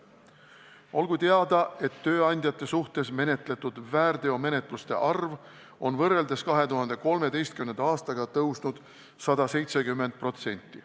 Olgu teada, et tööandjate suhtes menetletud väärteomenetluste arv on võrreldes 2013. aastaga kasvanud 170%.